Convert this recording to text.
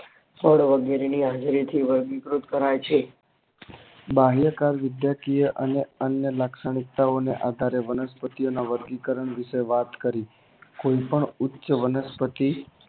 ફળ વગેરે ની હાજરીથી વર્ગીકૃત કરાય છે બાહ્ય કાળ વિદ્યાકીય એ અન્ન અન્ન લાક્ષણિકતા ઓ ને આધારે વનસ્પતિઓના વર્ગીકરણ વિષે વાત કરી કોઈ પણ ઉચ્ચ વનસ્પતિ